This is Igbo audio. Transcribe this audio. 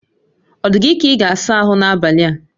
O dị gị ka ị ga-asa ahụ n'abalị a?